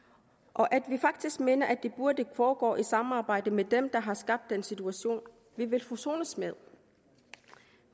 og at vi faktisk mener at det burde foregå i samarbejde med dem der har skabt den situation vi vil forsones med